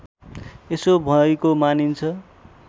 यसो भएको मानिन्छ